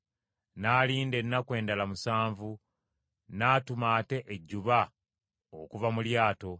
N’alinda ennaku endala musanvu n’atuma ate ejjuba okuva mu lyato;